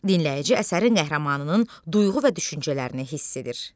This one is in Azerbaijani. Dinləyici əsərin qəhrəmanının duyğu və düşüncələrini hiss edir.